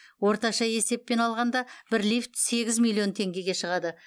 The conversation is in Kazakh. орташа есеппен алғанда бір лифт сегіз миллион теңгеге шығады